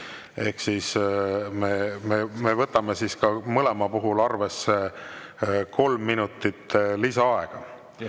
Ehk siis me võtame mõlema puhul arvesse ka kolm minutit lisaaega.